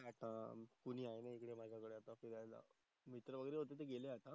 आता कोणी आहे नही माझा कडे आता फिरायला मित्र वगेरे होते ते गेले आता.